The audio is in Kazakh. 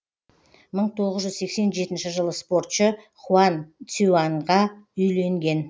мың тоғыз жүз сексен жетінші жылы спортшы хуан цюяньға үйленген